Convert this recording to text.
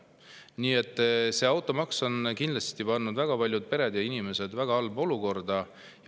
Nii et automaks on kindlasti pannud väga paljud pered ja inimesed väga halba olukorda.